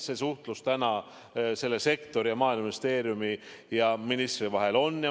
See suhtlus selle sektori ja Maaeluministeeriumi ja ministri vahel on.